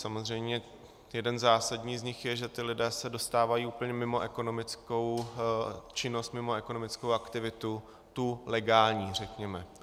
Samozřejmě jeden zásadní z nich je, že ti lidé se dostávají úplně mimo ekonomickou činnost, mimo ekonomickou aktivitu, tu legální řekněme.